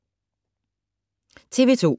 TV 2